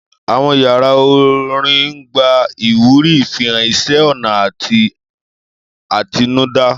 Àwọn yàrá orin ń gba ìwúrí ìfihàn iṣẹ́-ọnà àti àtinúdá.